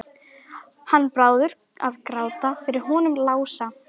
Hann Bárður að gráta yfir honum Lása!